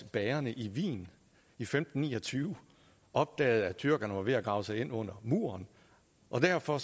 bagerne i wien i femten ni og tyve opdagede at tyrkerne var ved at grave sig ind under bymuren og derfor